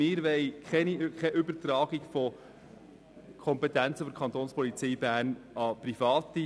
Wir wollen keine Übertragung von Kompetenzen der Kapo Bern an Private.